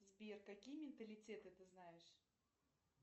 сбер какие менталитеты ты знаешь